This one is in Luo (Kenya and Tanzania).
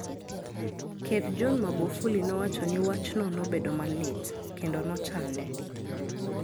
Ker John Magufuli nowacho ni wachno "nobedo malit " kendo" nochande. "